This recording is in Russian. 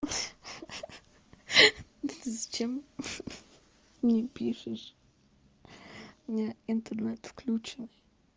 хи-хи зачем хи-хи мне пишешь у меня интернет включённый